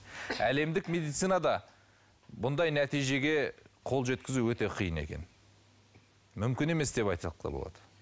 әлемдік медицинада бұндай нәтижеге қол жеткізу өте қиын екен мүмкін емес деп айтсақ та болады